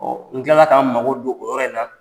n tilala k'a n mago don o yɔrɔ in na.